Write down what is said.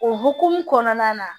O hokumu kɔnɔna na